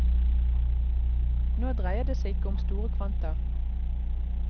Nå dreier det seg ikke om store kvanta.